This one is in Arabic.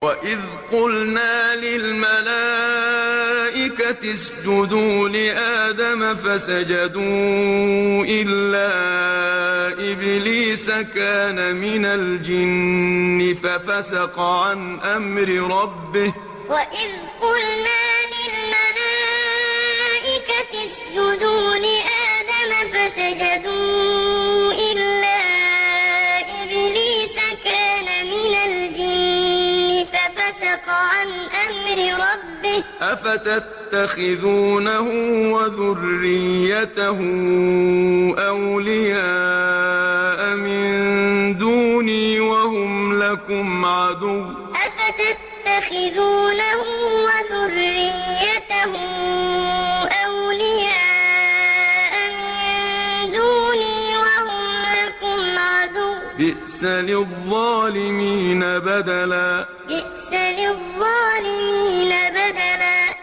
وَإِذْ قُلْنَا لِلْمَلَائِكَةِ اسْجُدُوا لِآدَمَ فَسَجَدُوا إِلَّا إِبْلِيسَ كَانَ مِنَ الْجِنِّ فَفَسَقَ عَنْ أَمْرِ رَبِّهِ ۗ أَفَتَتَّخِذُونَهُ وَذُرِّيَّتَهُ أَوْلِيَاءَ مِن دُونِي وَهُمْ لَكُمْ عَدُوٌّ ۚ بِئْسَ لِلظَّالِمِينَ بَدَلًا وَإِذْ قُلْنَا لِلْمَلَائِكَةِ اسْجُدُوا لِآدَمَ فَسَجَدُوا إِلَّا إِبْلِيسَ كَانَ مِنَ الْجِنِّ فَفَسَقَ عَنْ أَمْرِ رَبِّهِ ۗ أَفَتَتَّخِذُونَهُ وَذُرِّيَّتَهُ أَوْلِيَاءَ مِن دُونِي وَهُمْ لَكُمْ عَدُوٌّ ۚ بِئْسَ لِلظَّالِمِينَ بَدَلًا